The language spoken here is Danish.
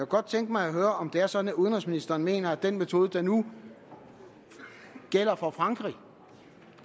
godt tænke mig at høre om det er sådan at udenrigsministeren mener at den metode der nu gælder for frankrig